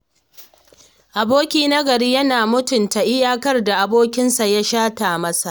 Aboki na gari yana mutunta iyakar da abokinsa ya shata masa.